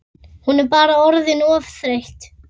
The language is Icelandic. Hún bara orðin of þreytt.